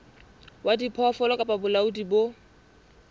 wa diphoofolo kapa bolaodi bo